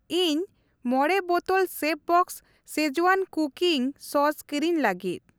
ᱤᱧ ᱢᱚᱬᱮ ᱵᱚᱛᱚᱞ ᱥᱮᱯᱷᱵᱚᱥᱥ ᱥᱠᱤᱡᱣᱟᱱ ᱠᱩᱠᱤᱝ ᱥᱚᱥ ᱠᱤᱨᱤᱧ ᱞᱟᱹᱜᱤᱫ ᱾